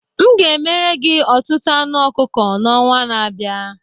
M ga-emere gị ọtụtụ anụ ọkụkọ n'ọnwa na-abịa